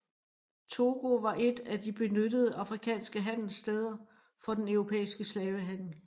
Togo var et af de benyttede afrikanske handelssteder for den europæiske slavehandel